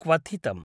क्वथितम्